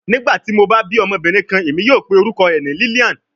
Nigbati mo ba bi ọmọbirin kan, Emi yoo pe orukọ rẹ ni Lilian